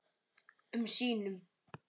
um sínum.